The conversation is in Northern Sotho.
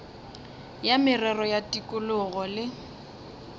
ya merero ya tikologo le